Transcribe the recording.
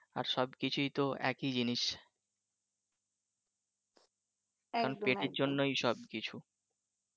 আর সব কিছুই তো একই জিনিস কারন পেটের জন্যই সব কিছু